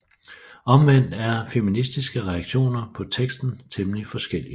Omvendt er feministiske reaktioner på teksten temmelig forskellige